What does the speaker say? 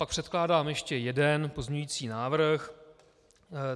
Pak předkládám ještě jeden pozměňující návrh.